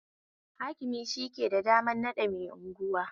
Hakimi shi yake da damar naɗa mai unguwa